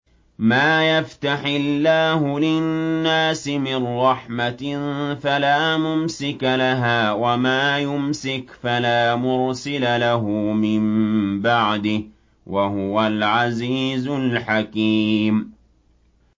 مَّا يَفْتَحِ اللَّهُ لِلنَّاسِ مِن رَّحْمَةٍ فَلَا مُمْسِكَ لَهَا ۖ وَمَا يُمْسِكْ فَلَا مُرْسِلَ لَهُ مِن بَعْدِهِ ۚ وَهُوَ الْعَزِيزُ الْحَكِيمُ